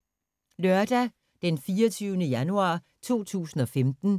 Lørdag d. 24. januar 2015